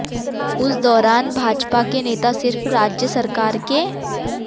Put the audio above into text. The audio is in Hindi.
उस दौरान भाजपा के नेता सिर्फ राज्य सरकार के